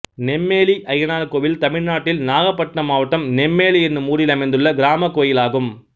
நெம்மேலி அய்யனார் கோயில் தமிழ்நாட்டில் நாகபட்டினம் மாவட்டம் நெம்மேலி என்னும் ஊரில் அமைந்துள்ள கிராமக் கோயிலாகும்